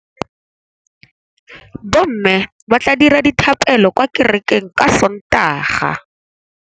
Bommê ba tla dira dithapêlô kwa kerekeng ka Sontaga.